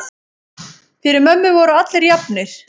Fyrir mömmu voru allir jafnir.